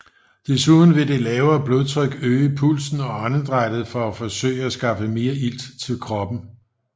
Desuden vil det lavere blodtryk øge pulsen og åndedrættet for at forsøge at skaffe mere ilt til kroppen